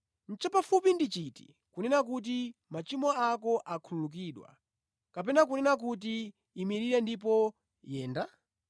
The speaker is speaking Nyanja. Chapafupi ndi chiti kunena kuti, ‘Machimo ako akhululukidwa’ kapena kunena kuti, ‘Imirira ndipo yenda?’